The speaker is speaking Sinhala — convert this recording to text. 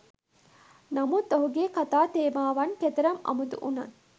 නමුත් ඔහුගේ කතා තේමාවන් කෙතරම් අමුතු වුණත්